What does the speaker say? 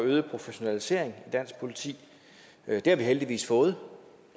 og øget professionalisering i dansk politi det har vi heldigvis fået